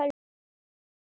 Einar Númi.